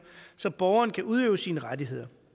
så borgeren kan udøve sine rettigheder